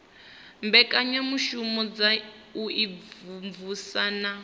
mbekanyamushumo dza u imvumvusa na